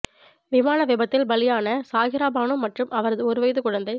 விமான விபத்தில் பலியான சாகிரா பானு மற்றும் அவரது ஒரு வயது குழந்தை